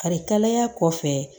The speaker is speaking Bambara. Karikaya kɔfɛ